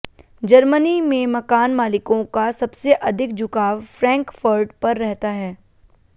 Germany में मकान मालिकों का सबसे अधिक झुकाव फ्रैंकफर्ट पर रहता है